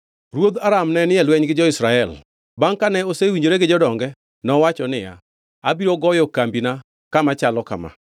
Ruoth Aram nenie e lweny gi jo-Israel. Bangʼ kane osewinjore gi jodonge, nowacho niya, “Abiro goyo kambina kama chalo kama.”